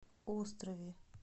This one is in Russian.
острове